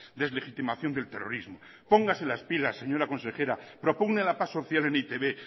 deslegitimación del terrorismo póngase las pilas señora consejera propugne la paz social en e i te be